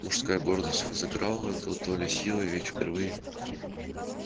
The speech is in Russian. мужская гордость взыграла в чарлзе с небывалой дотоле силой ведь впервые в жизни он сумел смутить девушку